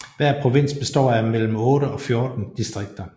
Hver provins består af mellem 8 og 14 distrikter